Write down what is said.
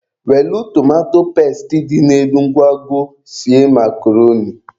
Welụ tomato pesti dị n'elu nkwago sie makroni.